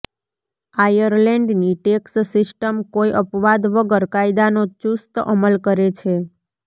આયર્લેન્ડની tax system કોઈ અપવાદ વગર કાયદાનો ચુસ્ત અમલ કરે છે